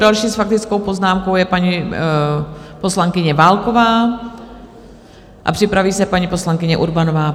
Další s faktickou poznámkou je paní poslankyně Válková a připraví se paní poslankyně Urbanová.